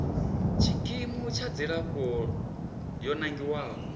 tshikimu tsha dzilafho yo nangiwaho